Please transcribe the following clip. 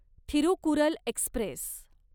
Thirukkural Express